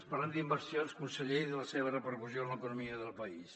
parlem d’inversions conseller i de la seva repercussió en l’economia del país